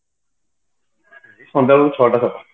ସନ୍ଧ୍ୟାବେଳକୁ ଛଟା